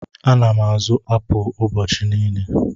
Ana m azụ apụl ụbọchị niile.